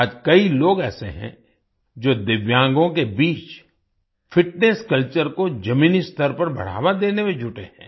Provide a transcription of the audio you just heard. आज कई लोग ऐसे हैं जो दिव्यांगों के बीच फिटनेस कल्चर को जमीनी स्तर पर बढ़ावा देने में जुटे हैं